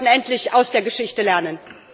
Wir sollten endlich aus der Geschichte lernen!